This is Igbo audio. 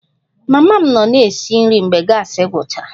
Mama m nọ na-esi nri mgbe gasi gwụchara